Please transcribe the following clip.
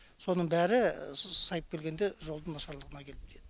соның бәрі сайып келгенде жолдың нашарлығына келіп тиеді